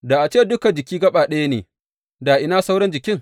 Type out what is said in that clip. Da a ce dukan jiki gaɓa ɗaya ne, da ina sauran jikin?